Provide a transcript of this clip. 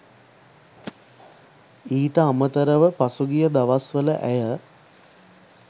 ඊට අමතරව පසුගිය දවස්‌වල ඇය